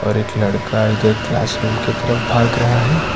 और एक लड़का इधर क्लासरूम की तरफ भाग रहा है।